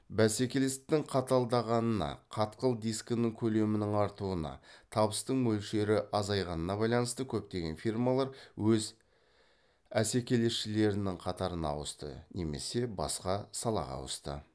бәсекелестіктің қаталдағанына қатқыл дискінің көлемінің артуына табыстың мөлшері азайғанға байланысты көптеген фирмалар өз әсекелесшілерінің қатарына ауысты немесе басқа салаға ауысты